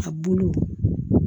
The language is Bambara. A bulu